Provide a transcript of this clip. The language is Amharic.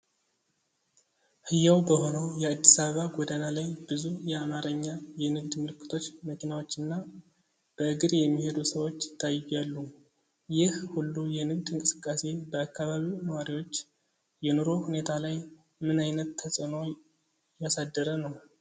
ሕያው በሆነው የአዲስ አበባ ጎዳና ላይ ብዙ የአማርኛ የንግድ ምልክቶች፣ መኪናዎችና በእግር የሚሄዱ ሰዎች ይታያሉይህ ሁሉ የንግድ እንቅስቃሴ በአካባቢው ነዋሪዎች የኑሮ ሁኔታ ላይ ምን ዓይነት ተጽዕኖ እያሳደረ ነው?